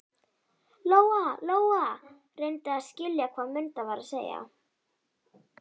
Lóa-Lóa reyndi að skilja hvað Munda var að segja.